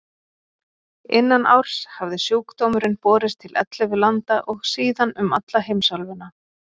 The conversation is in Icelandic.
Innan árs hafði sjúkdómurinn borist til ellefu landa og síðan um alla heimsálfuna.